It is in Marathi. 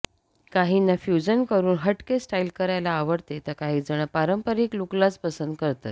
काहींना फ्युजन करून हट के स्टाइल करायला आवडते तर काहीजण पारंपरिक लुकलाच पसंत करतात